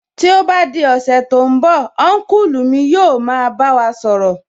Tí ó bá di ọ̀sẹ̀ tí ó ń bọ̀, Ọ́nkùlù wa yóò máa bá wa sọ̀rọ̀